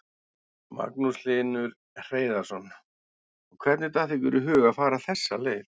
Magnús Hlynur Hreiðarsson: Og hvernig datt ykkur í hug að fara þessa leið?